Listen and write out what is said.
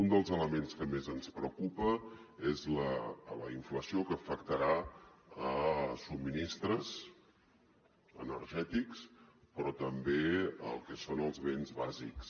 un dels elements que més ens preocupa és la inflació que afectarà subministres energètics però també el que són els béns bàsics